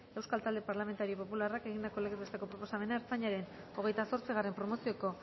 euskal talde parlamentario popularrak egindako legez besteko proposamena ertzaintzaren hogeita zortzigarrena promozioko